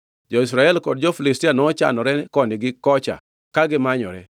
Jo-Israel kod jo-Filistia nochanore koni gi kocha ka gimanyore.